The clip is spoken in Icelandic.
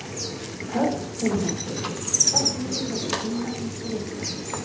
Hödd Vilhjálmsdóttir: Hvað þýðir þessi tilnefning fyrir ykkur?